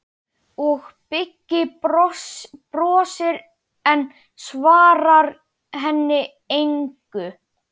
Og Beggi brosir, en svarar henni engu.